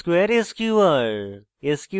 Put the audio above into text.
square sqr